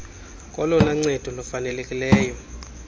kolona ncedo lufanelekileyo